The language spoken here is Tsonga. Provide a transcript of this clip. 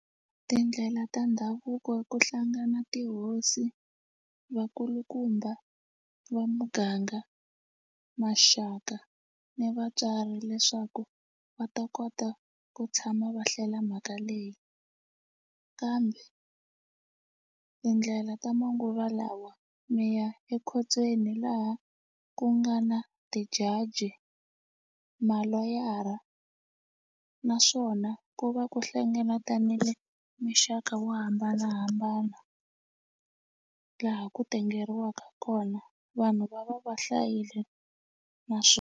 Tindlela ta ndhavuko ku hlangana tihosi vakulukumba va muganga maxaka ni vatswari leswaku va ta kota ku tshama va hlela mhaka leyi kambe tindlela ta manguva lawa mi ya ekhotsweni laha ku nga na ti-judge maloyara naswona ku va ku hlengeletanile mixaka wo hambanahambana laha ku tengeriwa kona vanhu va va va hlayile .